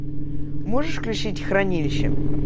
можешь включить хранилище